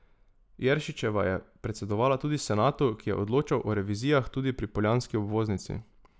Jeršičeva je predsedovala tudi senatu, ki je odločal o revizijah tudi pri poljanski obvoznici.